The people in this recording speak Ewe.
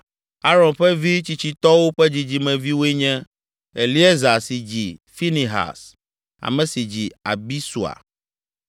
Aron ƒe vi tsitsitɔwo ƒe dzidzimeviwoe nye: Eleazar si dzi Finehas, ame si dzi Abisua,